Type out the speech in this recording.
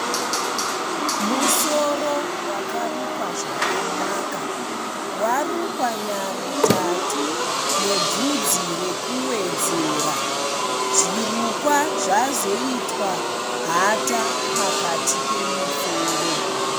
Musoro wakarukwa zvakanaka. Warukwa nyarutatu nebvudzi rekuwedzerwa. Zvirukwa zvazoitwa hata pakati pemusoro.